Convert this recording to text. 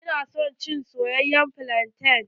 Ina son cin soyayyen flante.